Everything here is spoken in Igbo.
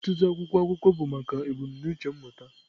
Ọtụtụ akwụkwọ akụkọ bụ maka ebumnuche mmụta.